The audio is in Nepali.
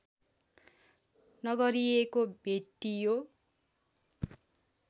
नगरिएको भेटियो